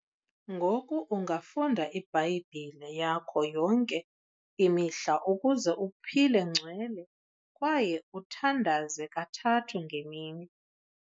Ngoku ungafunda ibhayibhile yakho yonke imihla ukuze uphile ngcwele kwaye uthandaze kathathu ngemini.